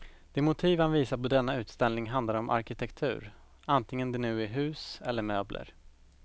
De motiv han visar på denna utställning handlar om arkitektur, antingen det nu är hus eller möbler.